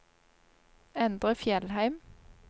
Endre Fjellheim